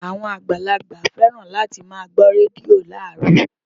Àwọn àgbàlagbà féràn láti máa gbó rédíò láàárọ̀